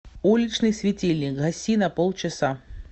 уличный светильник гаси на полчаса